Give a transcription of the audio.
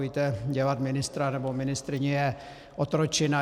Víte, dělat ministra nebo ministryni je otročina.